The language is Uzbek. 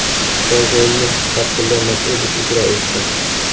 Bosh rolni Fatxulla Ma’sudov ijro etgan.